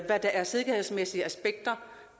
er sikkerhedsmæssige aspekter